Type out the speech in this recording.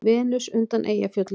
Venus undan Eyjafjöllum.